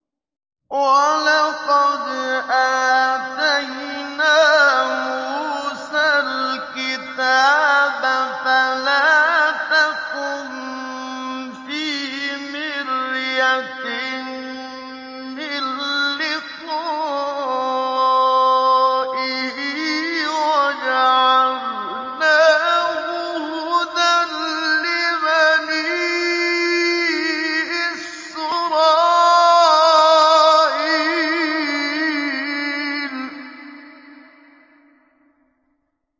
وَلَقَدْ آتَيْنَا مُوسَى الْكِتَابَ فَلَا تَكُن فِي مِرْيَةٍ مِّن لِّقَائِهِ ۖ وَجَعَلْنَاهُ هُدًى لِّبَنِي إِسْرَائِيلَ